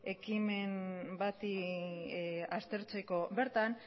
ekimen bati aztertzeko bertan